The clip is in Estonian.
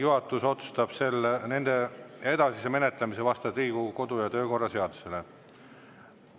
Juhatus otsustab nende edasise menetlemise vastavalt Riigikogu kodu- ja töökorra seadusele.